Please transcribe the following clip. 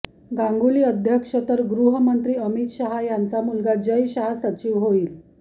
गांगुली अध्यक्ष तर गृहमंत्री अमित शहा यांचा मुलगा जय शहा सचिव होईल